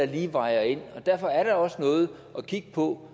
lige vejer ind og derfor er der også noget at kigge på